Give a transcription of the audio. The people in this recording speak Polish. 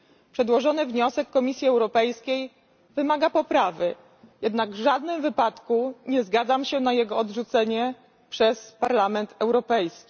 Przedłożony przez Komisję Europejską wniosek wymaga poprawy, jednak w żadnym wypadku nie zgadzam się na jego odrzucenie przez Parlament Europejski.